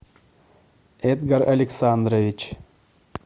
эдгар александрович